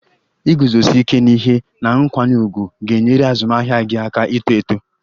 Iguzosi ike n'ihe na nkwanye ùgwù ga-enyere azụmahịa gị aka ito eto